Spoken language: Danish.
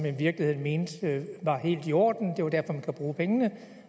i virkeligheden mente var helt i orden det var derfor man kunne bruge pengene